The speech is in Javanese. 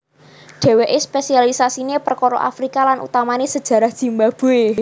Dhèwèké spésialisasiné perkara Afrika lan utamané sajarah Zimbabwé